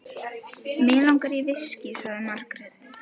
Mig langar í viskí, sagði Margrét.